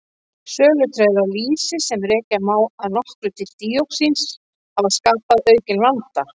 Sölutregðu á lýsi, sem rekja má að nokkru til díoxíns hafa skapað aukinn vanda.